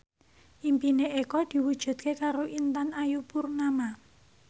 impine Eko diwujudke karo Intan Ayu Purnama